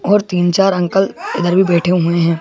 और तीन-चार अंकल इधर भी बैठे हुए हैं।